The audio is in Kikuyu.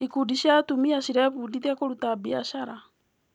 Ikundi cia atumia cirebundithia kũruta biacara.